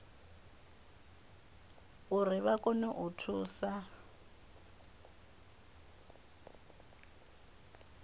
uri vha kone u thusa